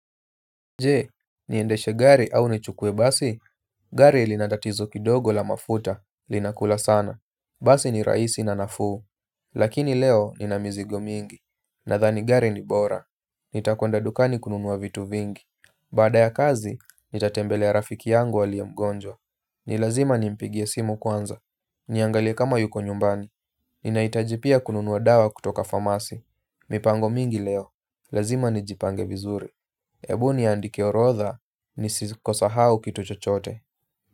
Je, niendeshe gari au nichukue basi, gari lina tatizo kidogo la mafuta, linakula sana. Basi ni rahisi na nafuu. Lakini leo nina mizigo mingi. Nathani gari ni bora. Nitakwenda dukani kununua vitu vingi. Baada ya kazi, nitatembelea ya rafiki yangu aliye mgonjwa. Nilazima ni mpigie simu kwanza. Niangalie kama yuko nyumbani. Ninahitaji pia kununua dawa kutoka famasi. Mipango mingi leo. Lazima ni jipange vizuri. Ebuni niandike orotha ni siko sahau kito chochote.